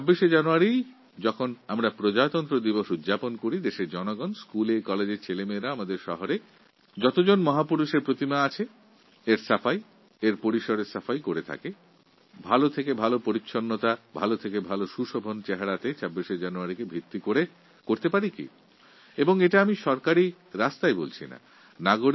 ২৬শে জানুয়ারি যখন আমরা সাধারণতন্ত্র দিবস পালন করব তখন দেশের নাগরিক ও স্কুলকলেজের ছাত্রছাত্রীদের দ্বারা আমাদের শহরগুলিতে স্থাপিত মহাপুরুষদের প্রতিকৃতিগুলিকে পরিষ্কারপরিচ্ছন্ন ও সুশোভিত করা এবং প্রতিকৃতির সংলগ্ন ক্ষেত্রের পরিচ্ছন্নতা বজায় রাখার ব্যাপারে ব্যবস্থা নিতে পারি না আমি কিন্তু সরকারি ব্যবস্থার কথা বলছি না